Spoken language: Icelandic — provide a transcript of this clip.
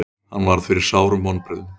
Hann varð fyrir sárum vonbrigðum.